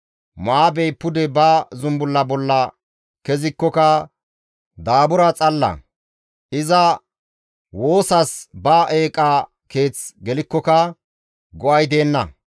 Mo7aabey pude ba zumbulla bolla kezikkoka daabura xalla; iza woosas ba eeqa keeth gelikkoka go7ay deenna.